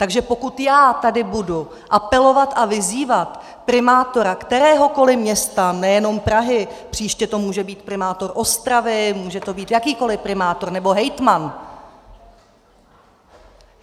Takže pokud já tady budu apelovat a vyzývat primátora kteréhokoli města, nejenom Prahy, příště to může být primátor Ostravy, může to být jakýkoli primátor nebo hejtman.